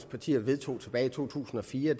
partier vedtog tilbage i to tusind og fire